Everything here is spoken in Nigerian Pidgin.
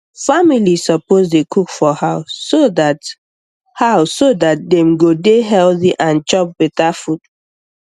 family suppose dey cook for house so dat house so dat dem go dey healthy and chop beta food